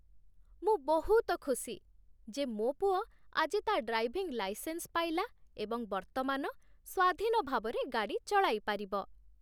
ମୁଁ ବହୁତ ଖୁସି ଯେ ମୋ ପୁଅ ଆଜି ତା' ଡ୍ରାଇଭିଂ ଲାଇସେନ୍ସ ପାଇଲା ଏବଂ ବର୍ତ୍ତମାନ ସ୍ୱାଧୀନ ଭାବରେ ଗାଡ଼ି ଚଳାଇପାରିବ।